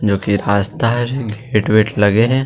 जो की रास्ता हरे गेट वेट लगे हे।